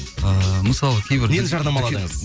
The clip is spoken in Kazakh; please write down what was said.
ыыы мысалы кейбір нені жарнамаладыңыз